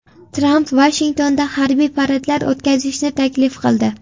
Tramp Vashingtonda harbiy paradlar o‘tkazishni taklif qildi.